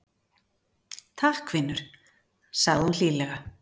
Takk, vinur- sagði hún hlýlega.